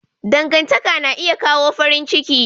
Dangantaka na iya kawo farin ciki.